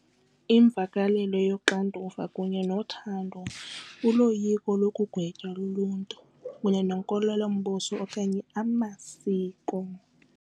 Imvakalelo yoxanduva kunye nothando uloyiko lokugwetywa luluntu kunye nenkolelombuso okanye amasiko.